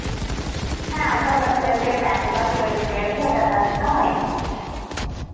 হ্যাঁ আধার card হয়েছে, PAN card হয়েছে, voter card টা হয়নি.